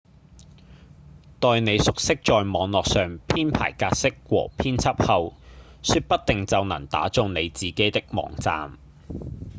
待你熟悉在網路上編排格式和編輯後說不定就能打造你自己的網站